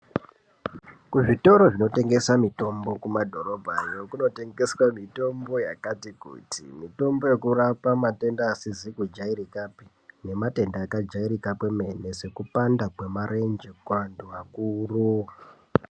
Kuzvitoro zvinotengeswa mitombo kumadhorobhayo kunotengeswa mitombo yakati kuti mitombo yekurapa matenda asizi kujairikapi nematenda akajairika kwemene sekupanda kwemarenje kuantu akuru.